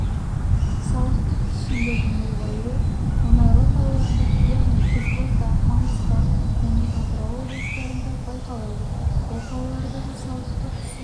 салықтық түсімдердің ұлғаюы мұнайлы қалаларда яғни қызылорда маңғыстау және атырау облыстарында байқалады бұл қалалардағы салықтық түсім